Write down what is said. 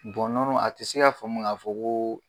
a tɛ se k'a faamu k'a fɔ ko